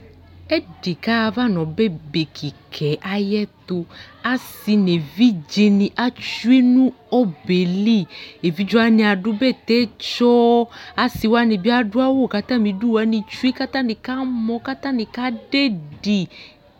Ɛdɩ kaɣayava n'ɔbɛ bekɩkɛ ayɛtʋ Asɩ nevidzenɩ atsue nʋ ɔbɛɛ li Evidze wanɩ adʋ bɛtɛtsɔ , asɩ wanɩ bɩ adʋ awʋ katamidu wanɩ tsue , katanɩ kamɔ katanɩ kadɛdɩ!